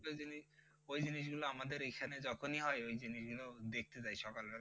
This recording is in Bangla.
ওই জিনিস ওই জিনিসগুলা আমাদের এখানে যখনি হয় ওই জিনিসগুলাও দেখতে যাই সকালবেলা